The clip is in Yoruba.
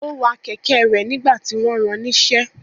Ó wa kẹ̀kẹ́ rẹ̀ nígbà tí wọ́n ran níṣẹ́.